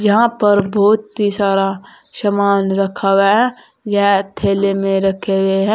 यहां पर बहुत ही सारा सामान रखा गया है यह थैले में रखे गए है।